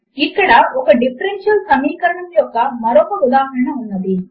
ఇక్కడ ఒక డిఫరెన్షియల్ సమీకరణము యొక్క మరొక ఉదాహరణ ఉన్నది